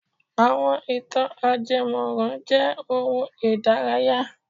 Àwọn ì̀tàn ajẹmọ́ran jẹ́ ohun ìdárayá.